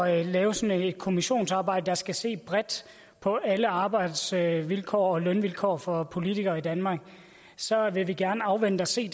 at lave sådan et kommissionsarbejde skal se bredt på alle arbejdsvilkår og lønvilkår for politikere i danmark så vil vi gerne afvente og se